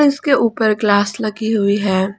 इसके ऊपर ग्लास लगी हुई है।